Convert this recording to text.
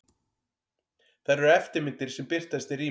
Þær eru eftirmyndir sem birtast í rými.